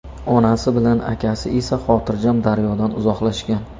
Onasi bilan akasi esa xotirjam daryodan uzoqlashgan.